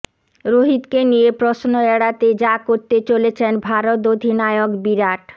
রোহিতকে নিয়ে প্রশ্ন এড়াতে যা করতে চলেছেন ভারত অধিনায়ক বিরাট